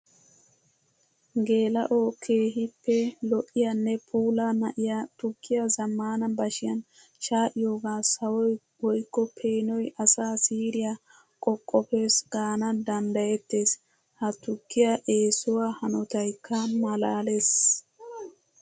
Geela'o keehippe lo'iyanne puulla na'iya tukkiya zamaana bashiyan shaa'iyooga sawoy woykko peenoy asaa siiriya qoqqopes gaana danddayetees. Ha tukkiya essuwa hanotaykka malalees.